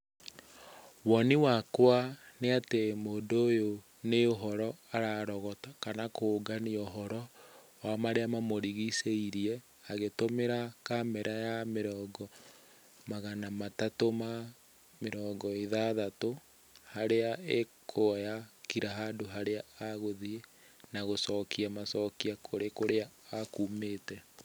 Woni wakwa nĩ atĩ mũndũ ũyũ nĩ ũhoro ararogota, kana kũngania ũhoro wa marĩa mamũrigicĩirie agĩtũmĩra kamera ya mĩrongo magana matatũ ma mĩrongo ĩthathatũ. Harĩa ĩkuoya kira handũ harĩa agũthiĩ na gũcokia macokio kũrĩ kũrĩa akumĩte.